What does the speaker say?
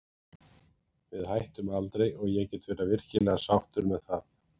Við hættum aldrei og ég get verið virkilega sáttur með það.